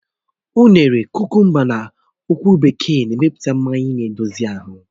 Ụnene, kukumba na ọ̀kwụ́rụ́ bekee n emepụta mmanya na-edozi ahụ